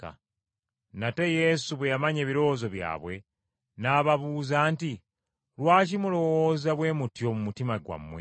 Nate Yesu bwe yamanya ebirowoozo byabwe, n’ababuuza nti, “Lwaki mulowooza bwe mutyo mu mutima gwammwe?